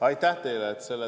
Aitäh teile!